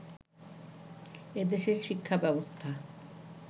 এদেশের শিক্ষা ব্যবস্থা